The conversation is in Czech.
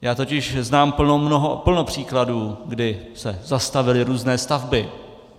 Já totiž znám plno příkladů, kdy se zastavily různé stavby.